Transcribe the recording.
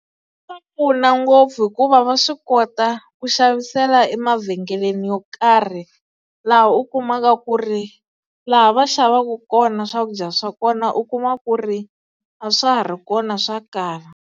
Swa pfuna ngopfu hikuva va swi kota ku xavisela emavhengeleni yo karhi laha u kumaka ku ri laha va xavaka kona swakudya swa kona u kuma ku ri a swa ha ri kona swa kala.